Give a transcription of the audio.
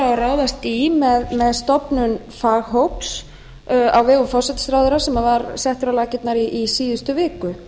á að ráðast í með stofnun faghóps á vegum forsætisráðherra sem var settur á laggirnar í síðustu viku